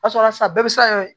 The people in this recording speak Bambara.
Kasɔrɔ sisan bɛɛ bɛ se ka